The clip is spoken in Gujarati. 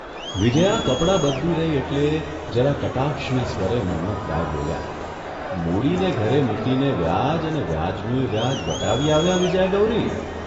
વિજયા કપડાં બદલી રહી એટલે જરા કટાક્ષના સ્વરે મન્મથરાય બોલ્યાં, '' મૂડીને ઘરે મૂકીને વ્યાજ અને વ્યાજનુંયે વ્યાજ વટાવી આવ્યાં, વિજયા ગૌરી'